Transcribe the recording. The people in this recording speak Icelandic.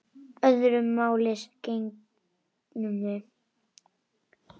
Öðru máli gegndi um mig.